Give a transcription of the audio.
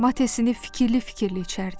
Matesini fikirli-fikirli içərdi.